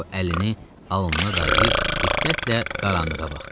O əlini alnına dayayıb diqqətlə qaranlığa baxdı.